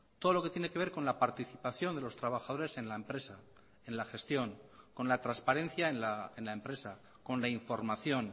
todo lo que tiene que ver con la participación de los trabajadores en la empresa en la gestión con la transparencia en la empresa con la información